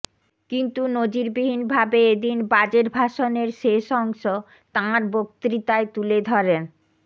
কিন্তু নজিরবিহীন ভাবে এদিন বাজেট ভাষণের শেষ অংশ তাঁর বক্তৃতায় তুলে ধরেন